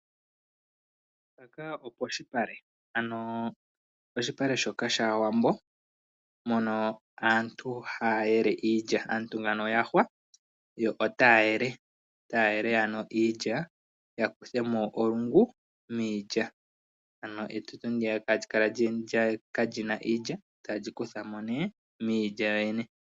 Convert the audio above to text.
Mpaka oposhipale ano oshipale shoka shaawambo mono aantu haya yele iilya. Aantu ngano oya hwa yo otaya yele ano iilya ya kuthe mo olungu miilya, ano etutu ndiya kaali kale kalina iilya tayeli kutha mo nee miilya yoyene.